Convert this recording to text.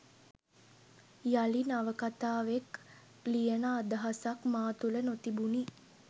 යළි නවකථාවෙක් ලියන අදහසක් මා තුළ නොතිබුණි.